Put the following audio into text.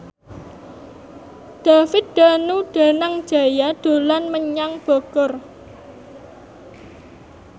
David Danu Danangjaya dolan menyang Bogor